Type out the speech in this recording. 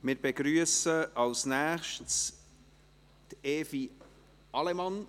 Wir begrüssen als Nächstes Evi Allemann.